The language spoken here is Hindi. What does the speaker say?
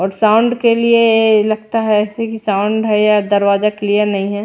और साउंड के लिए लगता है ऐसे कि साउंड है या दरवाजा क्लियर नहीं है।